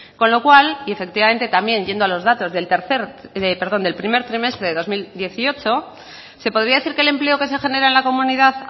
con lo cual y efectivamente también yendo a los datos del primer trimestre de dos mil dieciocho se podría decir que el empleo que se genera en la comunidad